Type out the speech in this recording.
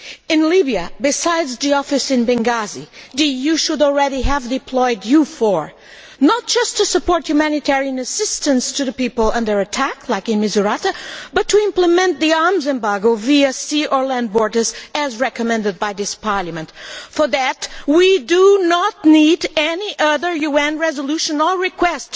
In Libya, besides the office in Benghazi, the EU should have already employed EUFOR, not just to support humanitarian assistance to the people under attack as in Misrata, but to implement the arms embargo via sea or land borders as recommended by this Parliament. For that, we do not need any other UN resolution or request